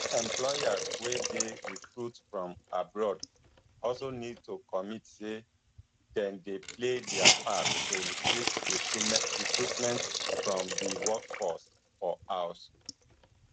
employers wey dey recruit from abroad also need to commit say dem dey play dia part to increase recruitment from di workforce for house